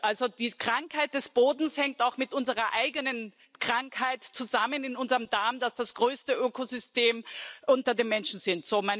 Also die Krankheit des Bodens hängt auch mit unserer eigenen Krankheit zusammen in unserem Darm, der das größte Ökosystem unter den Menschen ist.